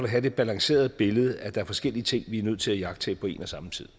have et balanceret billede af at der er forskellige ting vi er nødt til at iagttage på en og samme tid